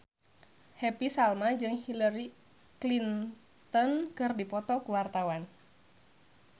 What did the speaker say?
Happy Salma jeung Hillary Clinton keur dipoto ku wartawan